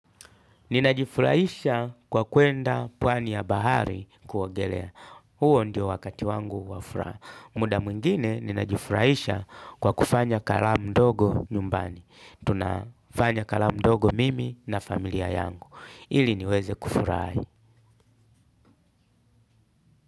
Ninajifurahisha kwa kwenda pwani ya bahari kuogelea. Huo ndio wakati wangu wa furaha. Muda mwingine ninajifurahisha kwa kufanya gharamu ndogo nyumbani. Tunafanya gharamu ndogo mimi na familia yangu ili niweze kufurahi.